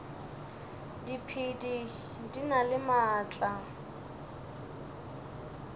diphedi di na le maatla